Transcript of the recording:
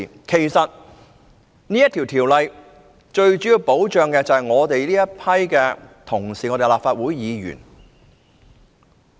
其實該條例最主要保障的是我們這些立法會議員。